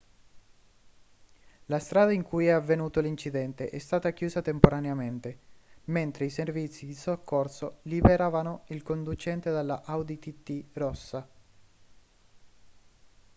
la strada in cui è avvenuto l'incidente è stata chiusa temporaneamente mentre i servizi di soccorso liberavano il conducente dalla audi tt rossa